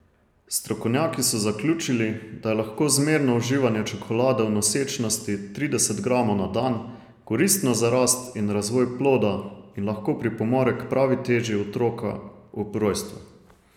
Strokovnjaki so zaključili, da je lahko zmerno uživanje čokolade v nosečnosti, trideset gramov na dan, koristno za rast in razvoj ploda in lahko pripomore k pravi teži otroka ob rojstvu.